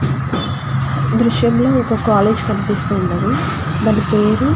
ఈ దృశ్యం లో ఒక కాలేజీ కనిపిస్తూఉన్నది దాని పేరు --